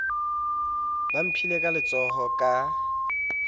ba mphile ka letsohong ka